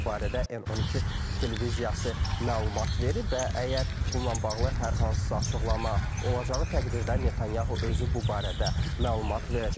Bu barədə N12 televiziyası məlumat verib və əgər bununla bağlı hər hansısa açıqlama olacağı təqdirdə Netanyahu özü bu barədə məlumat verəcək.